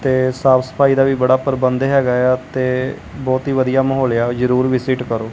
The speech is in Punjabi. ਤੇ ਸਾਫ਼ ਸਫ਼ਾਈ ਦਾ ਵੀ ਬੜਾ ਪਰਬੰਧ ਹੈਗਾ ਆ ਤੇ ਬਹੁਤ ਹੀ ਵਧੀਆ ਮਾਹੌਲ ਆ ਜਰੂਰ ਵਿਸਿਟ ਕਰੋ।